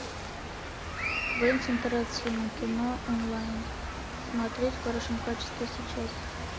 квентин тарантино кино онлайн смотреть в хорошем качестве сейчас